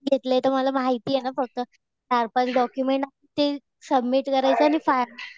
घेतले तर मला माहितीये ना प्रोसेस. चार-पाच डॉक्युमेंट लागतील. सबमिट करायचं.